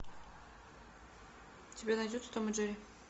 у тебя найдется том и джерри